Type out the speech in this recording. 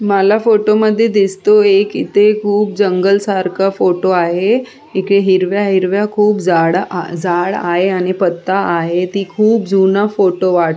मला फोटोमध्ये दिसतोय एक इथे खूप जंगल सारख फोटो आहे इथे हिरव्या हिरव्या खूप झा झाड आहे आणि पत्ता आहे हि खूप फोटो जुना वाट --